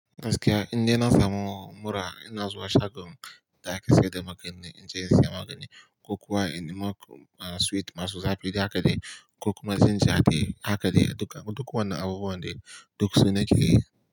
Gaskiya inda na samu mura ina zuwa shagon da ake sayar da magani, inje in saya magani, kokowa inimo sweet masu zafi haka dai, kokoma ginger haka dai, duka duk wannan abubuwan duk suna ciki.